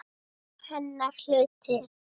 Hennar hluti.